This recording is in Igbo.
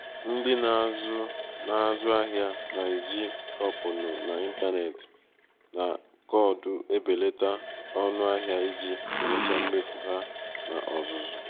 ndị na-azụ na-azụ ahịa na-eji kuponụ n'ịntanetị na koodu ebelata ọnụ ahịa iji belata mmefu ha n'ozuzu